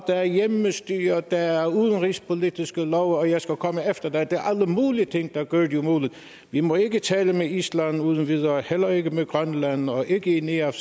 er hjemmestyre og der er udenrigspolitiske love og jeg skal komme efter dig det er alle mulige ting der gør det umuligt vi må ikke tale med island uden videre heller ikke med grønland og ikke i neafc